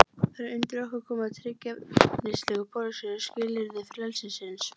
Það er undir okkur komið að tryggja efnisleg og pólitísk skilyrði frelsisins.